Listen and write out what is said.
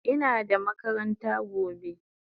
Ina da makaranta gobe